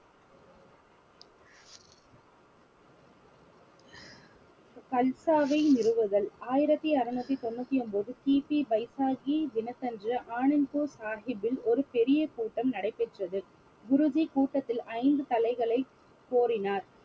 கல்சாவை நிறுவுதல் ஆயிரத்தி அறுநூத்தி தொண்ணுத்தி ஒன்பது பைசாகி தினத்தன்று ஆனந்த்பூர் சாஹிப்பில் ஒரு பெரிய கூட்டம் நடைபெற்றது குருஜி கூட்டத்தில் ஐந்து தலைகளை கோரினார்